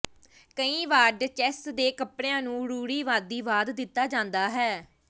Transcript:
ਕਈ ਵਾਰ ਡਚੇਸ ਦੇ ਕੱਪੜਿਆਂ ਨੂੰ ਰੂੜੀਵਾਦੀਵਾਦ ਦਿੱਤਾ ਜਾਂਦਾ ਹੈ